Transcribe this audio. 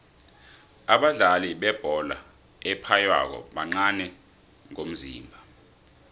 abadlali bebholo ephaywako bancani ngomzimba